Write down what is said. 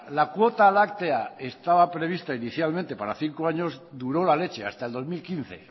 la cuota láctea estaba prevista inicialmente para cinco años duró la leche hasta el dos mil quince